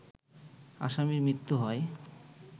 আসামির মৃত্যু হয়